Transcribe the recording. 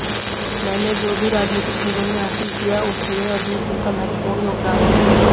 मैंने जो भी राजनीतिक जीवन में हासिल किया उसमें अर्जुन सिंह का महत्वपूर्ण योगदान है